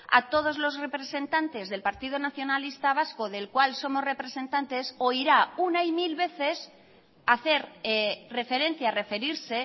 a todos los representantes del partido nacionalista vasco del cual somos representantes oirá una y mil veces hacer referencia referirse